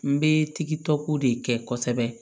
N bɛ tigitɔko de kɛ kosɛbɛ